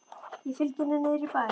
Ég fylgi henni niður í bæ.